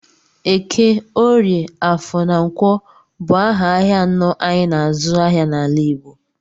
Eke, Orie, Afọ na Nkwọ bụ aha ahịa anọ anyị n'azụ ahịa n'ala Igbo.